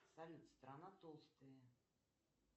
салют страна толстые